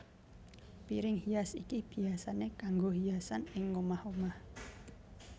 Piring hias iki biyasané kanggo hiasan ing omah omah